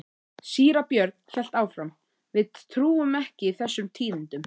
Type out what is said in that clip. Síra Björn hélt áfram: Við trúum ekki þessum tíðindum.